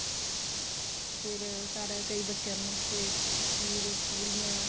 ਤੇ ਫੇਰ ਘਰ ਆਏ ਕਈ ਬੱਚਿਆ ਨੂੰ ਉੱਥੇ ਖੀਰ ਪੁੜੀਆਂ